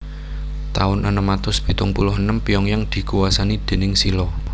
Taun enem atus pitung puluh enem Pyongyang dikuwasani déning Silla